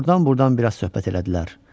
Ordan-burdan biraz söhbət elədilər.